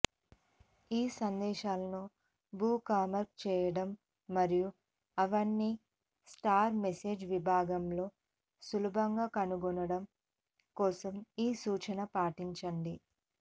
ఈ సందేశాలను బుక్మార్క్ చేయడం మరియు అవన్నీ స్టార్ మెసేజ్ విభాగంలో సులభంగా కనుగొనడం కోసం ఈ సూచన పాటించండి